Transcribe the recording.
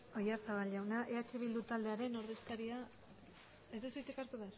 oyarzabal jauna eh bildu taldearen ordezkaria ez duzu hitzik hartu